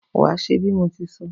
Wàá s̩e bí mo ti so̩!